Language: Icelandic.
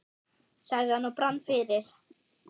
sagði hann og brann fyrir.